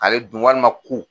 Ale dun walima ku